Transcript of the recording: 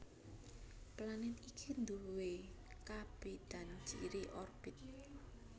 Planèt iki duwé kabédan ciri orbit